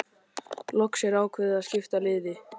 Loks er ákveðið að skipta liði.